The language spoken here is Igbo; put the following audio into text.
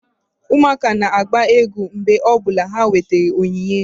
Ụmụaka na-agba egwu mgbe ọ bụla ha nwetara onyinye